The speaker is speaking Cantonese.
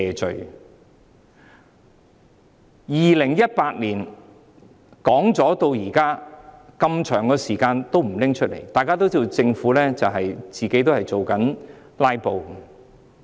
自2018年公布至今，這麼長時間都不再提出，大家都知道，政府自己也在"拉布"。